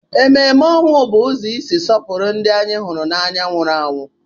Emume ọnwụ bụ ụzọ isi sọpụrụ ndị anyị hụrụ n'anya nwụrụ anwụ.